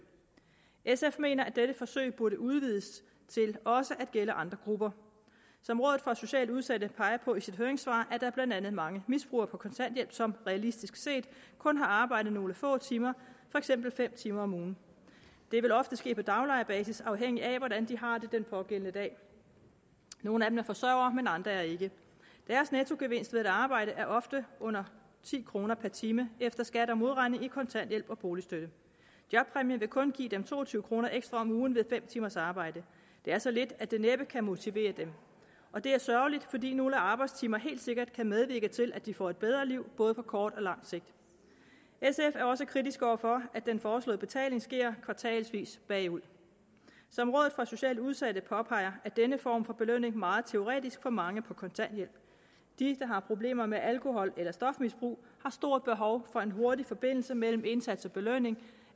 sf mener at dette forsøg burde udvides til også at gælde andre grupper som rådet for socialt udsatte peger på i sit høringssvar er der blandt andet mange misbrugere på kontanthjælp som realistisk set kun har arbejde nogle få timer for eksempel fem timer om ugen det vil ofte ske på daglejerbasis afhængigt af hvordan de har det den pågældende dag nogle af dem er forsørgere men andre er ikke deres nettogevinst ved at arbejde er ofte under ti kroner per time efter at skat er modregnet i kontanthjælp og boligstøtte jobpræmie vil kun give dem to og tyve kroner ekstra om ugen ved fem timers arbejde det er så lidt at det næppe kan motivere dem det er sørgeligt fordi nogle arbejdstimer helt sikkert kan medvirke til at de får et bedre liv både på kort og på lang sigt sf er også kritiske over for at den foreslåede betaling sker kvartalsvis bagud som rådet for socialt udsatte påpeger er denne form for belønning meget teoretisk for mange på kontanthjælp de der har problemer med alkohol eller stofmisbrug har stort behov for en hurtig forbindelse mellem indsats og belønning